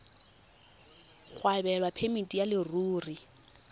go abelwa phemiti ya leruri